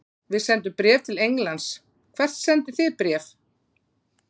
Við sendum bréf til Englands. Hvert sendið þið bréf?